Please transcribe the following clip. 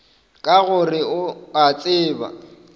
ka gore o a tseba